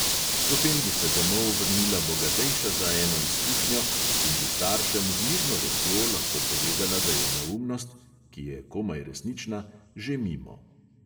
Potem bi se domov vrnila bogatejša za eno izkušnjo in bi staršem z mirno vestjo lahko povedala, da je neumnost – ki je komaj resnična – že mimo.